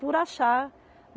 Por achar.